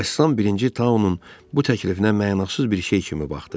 Rəssam birinci Tauun bu təklifinə mənasız bir şey kimi baxdı.